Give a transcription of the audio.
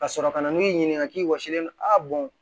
Ka sɔrɔ ka na n'u y'i ɲininka k'i wɔsilen don